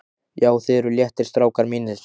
JÁ, ÞIÐ ERUÐ LÉTTIR, STRÁKAR MÍNIR!